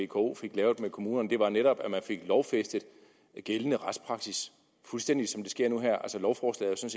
vko fik lavet med kommunerne det var netop at man fik lovfæstet gældende retspraksis fuldstændig som det sker nu her altså lovforslaget